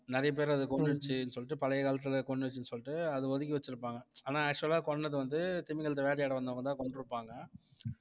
நெறைய பேர அது கொன்னுருச்சுன்னு சொல்லிட்டு பழைய காலத்துல கொன்னுருச்சுன்னு சொல்லிட்டு அதை ஒதுக்கி வச்சிருப்பாங்க ஆனா actual ஆ கொன்னது வந்து திமிங்கலத்தை வேட்டையாட வந்தவங்கதான் கொன்றுப்பாங்க